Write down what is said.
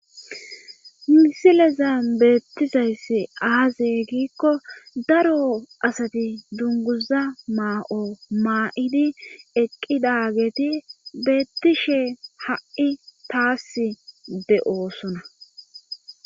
misileza beettizayssi aaze giikko daro asati dunguza maa7o maa7idi eqqidageti beettishe ha7i taas de7oosona